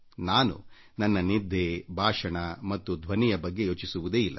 ನಾನು ನನ್ನ ನಿದ್ದೆ ಭಾಷಣ ಮತ್ತು ಧ್ವನಿಯ ಬಗ್ಗೆ ಯೋಚಿಸುವುದೇ ಇಲ್ಲ